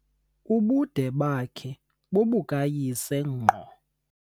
Ubude bakhe bobukayise ngqo.